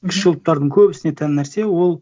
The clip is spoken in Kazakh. кіші ұлттардың көбісіне тән нәрсе ол